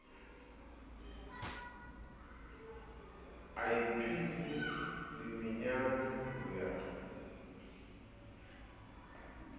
a iphile dimenyane ho ya